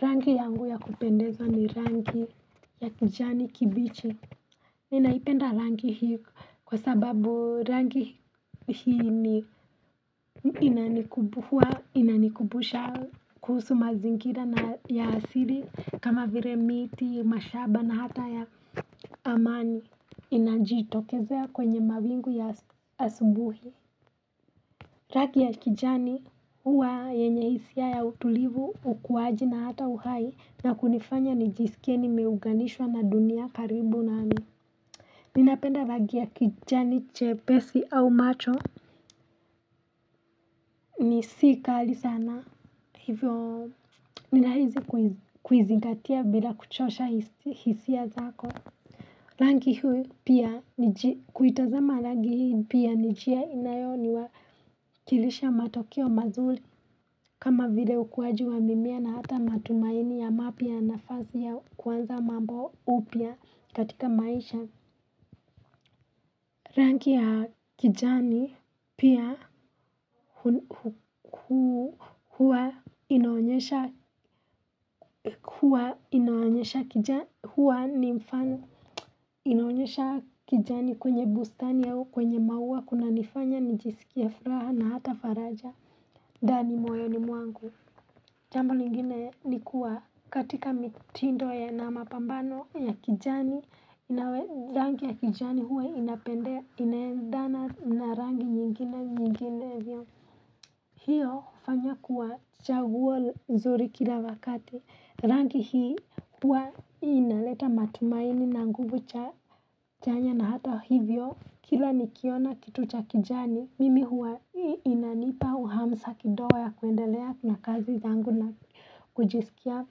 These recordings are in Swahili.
Rangi yangu ya kupendeza ni rangi ya kijani kibichi. Ninaipenda rangi hii kwa sababu rangi hii ni inanikumbusha kuhusu mazingira na ya asili kama vile miti, mashamba na hata ya amani. Inajitokezea kwenye mawingu ya asubuhi. Ragi ya kijani huwa yenye hisia ya utulivu, ukuwaji na hata uhai na kunifanya nijisikie nimeuganishwa na dunia karibu nami. Ninapenda ragi ya kijani che pesi au macho. Ni si kali sana hivyo ninahisi kuizingatia bila kuchosha hisia zako. Rangi hii pia kuitazama rangi hii pia ninjia inayo niwakilisha matokeo mazuri kama vile ukuwaji wa mimea na hata matumaini ya mapya ya nafasi ya kuanza mambo upya katika maisha. Rangi ya kijani pia huwa inaonyesha huwa nimfano inaonyesha kijani kwenye bustani au kwenye maua kuna nifanya nijisikie furaha na hata faraja ndani moyoni mwangu. Jambo lingine ni kuwa katika mitindo ya na mapambano ya kijani. Na rangi ya kijani huwa inapendea, inaendana na rangi nyingine, nyingine hivyo. Hiyo hufanya kuwa chaguo nzuri kila wakati. Rangi hii huwa inaleta matumaini na nguvu cha chanya na hata hivyo kila nikiona kitu cha kijani mimi huwa hii inanipa uhamsa kidoa ya kuendelea na kazi zangu na kujisikia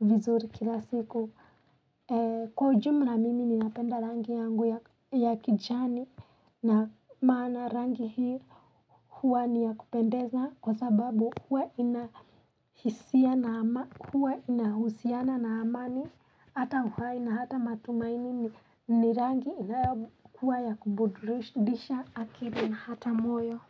vizuri kila siku. Kwa ujumla mimi ninapenda rangi yangu ya kijani. Na maana rangi hii huwa ni ya kupendeza kwa sababu huwa ina inahusiana na amani, hata uhai nahata matumaini ni rangi inayo kuwa kubudurisha akili na hata moyo.